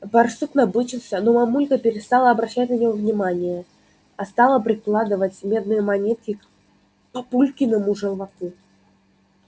барсук набычился но мамулька перестала обращать на него внимание а стала прикладывать медные монетки к папулькиному желваку